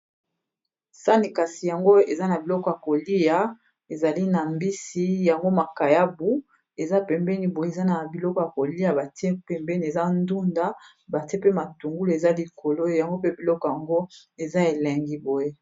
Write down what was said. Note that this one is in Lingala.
Sani kasi yango eza na biloko ya kolia ezali na mbisi yango makayabu eza pembeni boye eza na biloko ya kolia batie pembeni eza ndunda batie pe matungulu eza likolo yango pe biloko yango eza elengi boye.